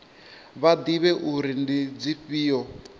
vha ḓivhe uri ndi dzifhio